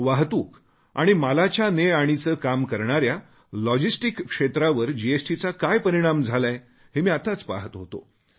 वाहतूक आणि मालाच्या नेआणीचे काम करणाऱ्या लॉजिस्टिक्स क्षेत्रावर जीएसटीचा काय परिणाम झालाय हे मी आताच पहात होतो